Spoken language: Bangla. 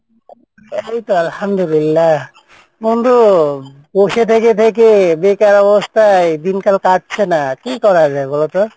এইতো আলহামদুলিল্লা বন্ধু বসে থেকে থেকে বেকার অবস্থায় দিনকাল কাটছেনা। কী করা যায় বলতো?